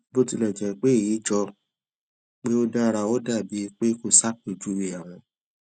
bó tilè jé pé èyí jọ pé ó dára ó dà bíi pé kò ṣàpèjúwe àwọn